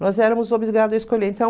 Nós éramos obrigados a escolher, então